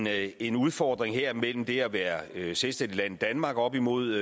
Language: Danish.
er en udfordring her mellem det at være et selvstændigt land danmark op imod